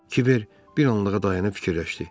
Kiber bir anlığa dayanıb fikirləşdi.